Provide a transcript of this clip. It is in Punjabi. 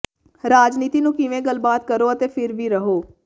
ਰਾਜਨੀਤੀ ਨੂੰ ਕਿਵੇਂ ਗੱਲਬਾਤ ਕਰੋ ਅਤੇ ਫਿਰ ਵੀ ਰਹੋ